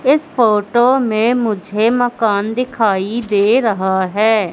इस फोटो में मुझे मकान दिखाई दे रहा है।